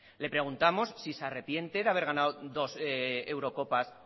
le preguntamos si se arrepiente de haber ganado dos eurocopas